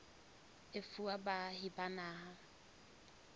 e fuwa baahi ba naha